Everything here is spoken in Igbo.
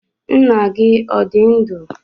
Nna gi odi ndu?